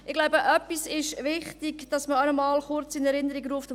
Ich denke, es ist wichtig, etwas noch einmal kurz in Erinnerung zu rufen: